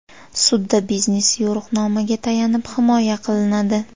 Sudda biznes yo‘riqnomaga tayanib himoya qilinadi.